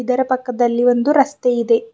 ಇದರ ಪಕ್ಕದಲ್ಲಿ ಒಂದು ರಸ್ತೆ ಇದೆ.